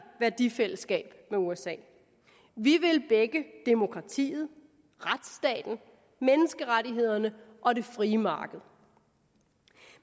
værdifællesskab med usa vi vil begge demokratiet retsstaten menneskerettighederne og det frie marked